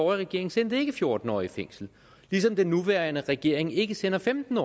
regering sendte ikke fjorten årige i fængsel ligesom den nuværende regering ikke sender femten